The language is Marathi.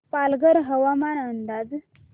पालघर हवामान अंदाज